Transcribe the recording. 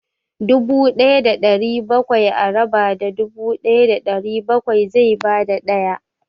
Dubu ɗaya da ɗari bakwai a raba da dubu ɗaya da ɗari bakwai zai ba da ɗaya.